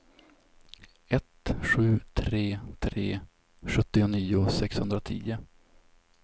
ett sju tre tre sjuttionio sexhundratio